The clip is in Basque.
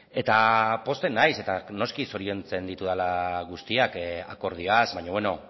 eta pozten naiz eta noski zoriontzen ditudala guztiak akordioaz baina beno